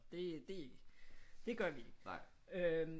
Det det gør vi ikke øh